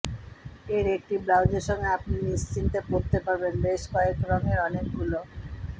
এর একটি ব্লাউজের সঙ্গে আপনি নিশ্চিন্তে পরতে পারবেন বেশ কয়েক রঙের অনেকগুলো